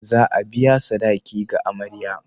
Za a biya sadaki ga amarya.